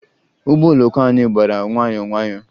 Ụgbọ oloko anyị gbara nwayọọ nwayọọ